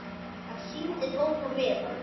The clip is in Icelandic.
Hann sýndi Tóta miðann.